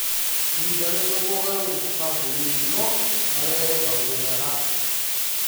Ĩhinda rĩmwe mogarũrũku kambuninĩ no marehe maũndũ mega.